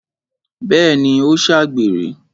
Bẹ́ẹ̀ni, ó ṣàgbèrè